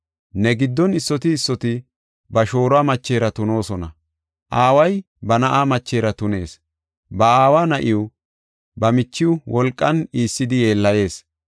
Ne giddon issoti issoti ba shooruwa machera tunoosona; aaway ba na7a machera tunees; ba aawa na7iw, ba michiw wolqan iissidi yeellayees.